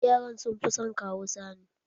Yaran sun fi son Kawu Sani.